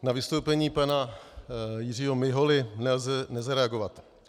Na vystoupení pana Jiřího Miholy nelze nezareagovat.